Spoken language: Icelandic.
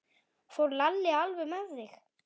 Fór Lalli alveg með þig?